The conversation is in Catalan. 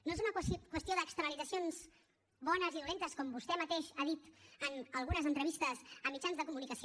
no és una qüestió d’externalitzacions bones i dolentes com vostè mateix ha dit en algunes entrevistes a mitjans de comunicació